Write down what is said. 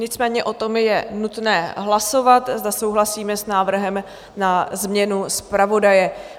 Nicméně o tom je nutné hlasovat, zda souhlasíme s návrhem na změnu zpravodaje.